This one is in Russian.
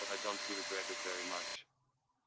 тогда он тебе первый матч